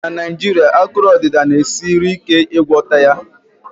na Naijiria, akụrụ odida na-esiri ike ịgwọta ya